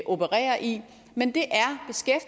opererer i men det